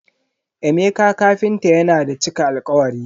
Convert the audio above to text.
Emeka kafinta yana da cika alkawari.